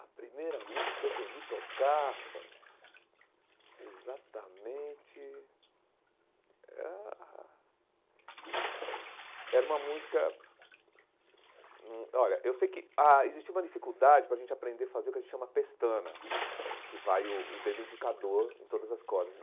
A primeira música que eu aprendi a tocar rapaz, exatamente... Era era uma música... Hum olha, eu sei que ah existiu uma dificuldade para a gente aprender a fazer o que a gente chama pestana, que vai o o dedo indicador em todas as cordas.